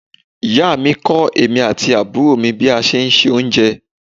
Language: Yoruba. Ìyá mi kọ èmi àti àbúrò mi bí a ṣe ń se oúnjẹ.